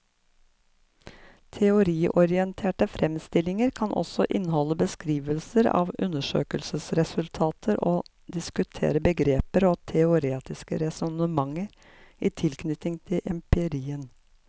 Teoriorienterte fremstillinger kan også inneholde beskrivelser av undersøkelsesresultater og diskutere begreper og teoretiske resonnementer i tilknytning til empirien.